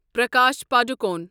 Prakash Padukone